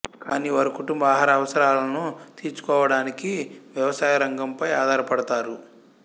కానీ వారు కుటుంబ ఆహార అవసరాలను తీర్చుకోవడానికి వ్యవసాయ రంగంపై ఆధారపడతారు